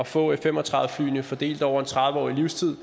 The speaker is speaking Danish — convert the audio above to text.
få f fem og tredive flyene fordelt over en tredive årig levetid